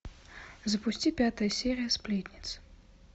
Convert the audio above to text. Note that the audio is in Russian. запусти пятую серию сплетниц